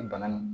bana in